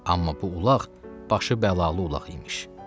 Amma bu ulaq başı bəlalı ulaq imiş.